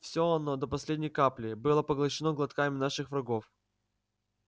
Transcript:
всё оно до последней капли было поглощено глотками наших врагов